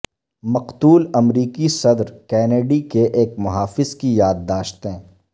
مقتول امریکی صدر کینیڈی کے ایک محافظ کی یاد داشتیں